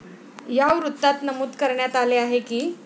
या वृत्तात नमूद करण्यात आले आहे की,